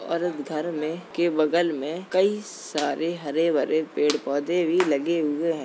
और घर में के बगल में कई सारे हरे भरे पेड़ पौधे भी लगे हुए हैं।